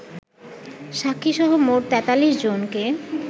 সাক্ষীসহ মোট ৪৩ জনকে